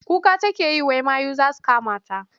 Kuka take yi wai mayu za su kamata.